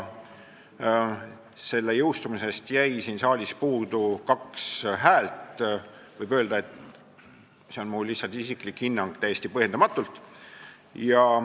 Selle seadusena jõustumisest jäi siin saalis puudu kaks häält ja võib öelda – see on mul lihtsalt isiklik hinnang –, et täiesti põhjendamatult.